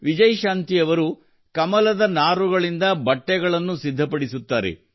ವಿಜಯಶಾಂತಿ ಅವರು ಕಮಲದ ನಾರುಗಳಿಂದ ಬಟ್ಟೆಗಳನ್ನು ಸಿದ್ಧಪಡಿಸುತ್ತಾರೆ